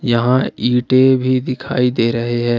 यहां ईंटे भी दिखाई दे रहे हैं।